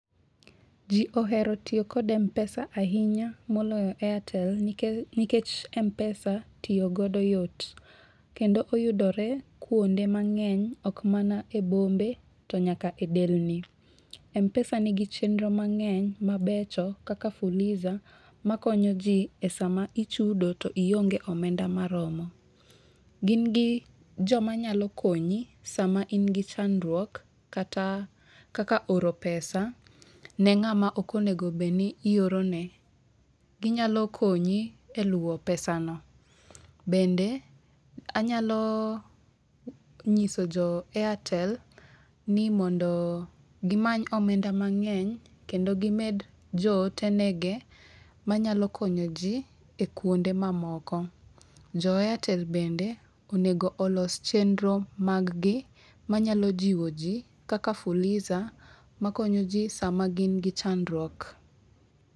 Ji ohero tiyo kod Mpesa ahinya moloyo Airtel nikech Mpesa tiyo godo yot, kendo oyudore kuonde mang'eny ok mana e bombe to nyaka e delni. Mpesa nigi chenro mang'eny mabecho kaka fuliza ma konyo ji e sama ichudo to ionge omenda maromo. Gin gi joma nyalo konyi sama in gi chandruok kata kaka oro pesa ne ng'ama ok onego bed ni ioro ne. Ginyalo konyi e luwo pesa no. Bende anyalo nyiso jo airtel ni mondoo gimany omenda mang'eny kendo gimed jo ote nege manyalo konyo ji e kuonde mamoko. Jo airtel bende, onego olos chenro mag gi manyalo jiwo ji kaka fuliza makonyo ji sama gin gi chandruok.